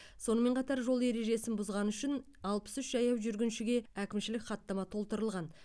сонымен қатар жол ережесін бұзғаны үшін алпыс үш жаяу жүргіншіге әкімшілік хаттама толтырылған